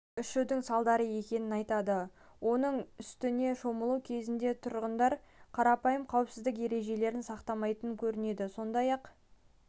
ішудің салдары екенін айтады оның үстіне шомылу кезінде тұрғындар қарапайым қауіпсіздік ережелерін сақтамайтын көрінеді сондай-ақ